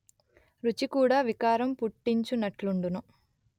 రుచి కూడా వికారం పుట్తించునట్లుండును